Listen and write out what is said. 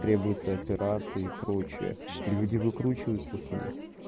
требуется операции и прочие люди выкручиваются с них